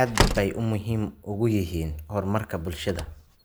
aad bay muhiim ugu yihiin horumarka bulshada.